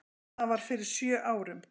Það var fyrir sjö árum.